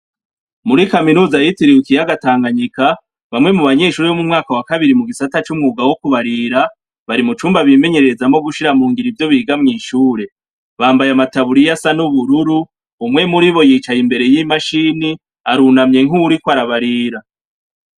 Muri kaminuza yitiriwe ikiyaga Tanganyika bamwe mu banyeshuri bo'mumwaka wa kabiri mu gisata c'umwuga wo kubarira. Bari mu cumba bimenyerereza mu gushira mungira ivyo biga mw ishure bambaye amataburiya asa n'ubururu umwe muri bo yicaye imbere y'imashini arunamye inkuri ko arabarira.